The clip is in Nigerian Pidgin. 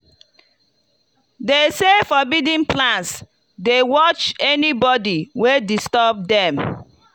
them say forbidden plants dey watch anybody wey disturb dem.